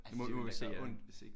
Altså det ville da gøre ondt hvis ikke